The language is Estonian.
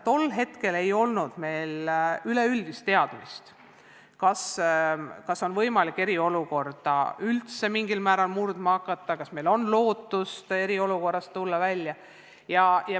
Tol hetkel ei olnud meil üleüldist teadmist, kas eriolukorda on üldse võimalik mingil määral lõpetama hakata ja kas meil on lootust eriolukorrast välja tulla.